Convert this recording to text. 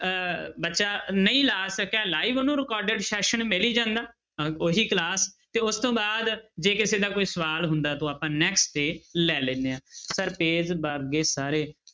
ਅਹ ਬੱਚਾ ਨਹੀਂ ਲਾ ਸਕਿਆ live ਉਹਨੂੰ recorded session ਮਿਲ ਹੀ ਜਾਂਦਾ ਅਹ ਉਹੀ class ਤੇ ਉਸ ਤੋਂ ਬਾਅਦ ਜੇ ਕਿਸੇ ਦਾ ਕੋਈ ਸਵਾਲ ਹੁੰਦਾ ਤਾਂ ਆਪਾਂ next day ਲੈ ਲੈਂਦੇ ਹਾਂ sir ਸਾਰੇ